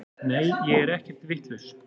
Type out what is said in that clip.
Nei ég er ekkert vitlaus.